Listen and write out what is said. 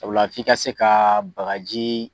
Sabula f'i ka se ka bagaji